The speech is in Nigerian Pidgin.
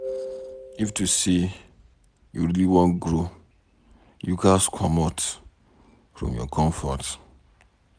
If to say you really want grow, you ghas commot from your comfort.